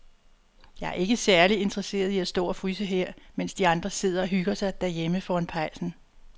Jeg er ikke særlig interesseret i at stå og fryse her, mens de andre sidder og hygger sig derhjemme foran pejsen.